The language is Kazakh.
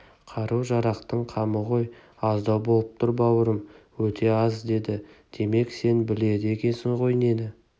қару-жарақтың қамы ғой аздау болып тұр бауырым өте аз деді демек сен біледі екенсің ғой нені